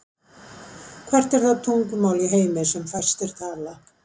Hvert er það tungumál í heimi sem fæstir tala?